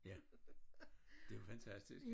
Ja det jo fantastisk